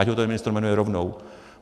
Ať ho ten ministr jmenuje rovnou.